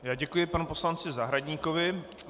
Já děkuji panu poslanci Zahradníkovi.